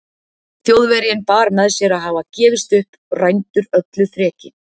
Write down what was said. Þjóðverjinn bar með sér að hafa gefist upp, rændur öllu þreki.